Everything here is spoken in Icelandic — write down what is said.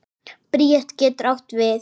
Bríet getur átt við